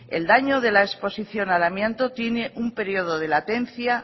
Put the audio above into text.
el daño de la exposición al amianto tiene un periodo de latencia